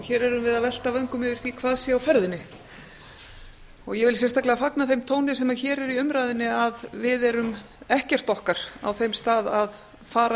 hér erum við að velta vöngum yfir því hvað sé á ferðinni ég vil sérstaklega fagna þeim tóni sem hér er í umræðunni að við erum ekkert okkar á þeim stað að fara